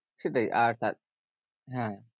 সেটাই আর হ্যাঁ